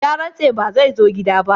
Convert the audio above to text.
Ya rantse ba zai zo gida ba.